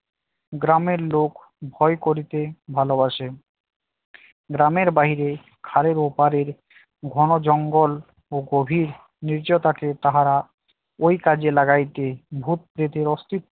গ্রামের লোক করতে ভালোবাসে গ্রামের বাহিরে খালের ওপারে ঘন জঙ্গল ও গভীর নির্জনতাকে তাহারা ওই কাজে লাগাইতে ভূত পেতের অস্তিত্বে